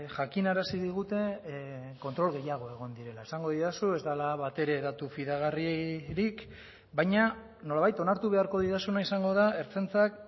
jakinarazi digute kontrol gehiago egon direla esango didazu ez dela batere datu fidagarririk baina nolabait onartu beharko didazuna izango da ertzaintzak